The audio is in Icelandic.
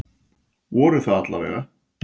Voru það alla vega.